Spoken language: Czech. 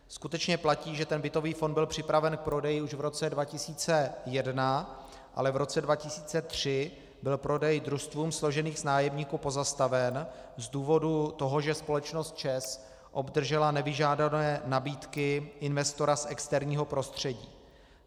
Skutečně platí, že ten bytový fond byl připraven k prodeji už v roce 2001, ale v roce 2003 byl prodej družstvům složeným z nájemníků pozastaven z důvodu toho, že společnost ČEZ obdržela nevyžádané nabídky investora z externího prostředí.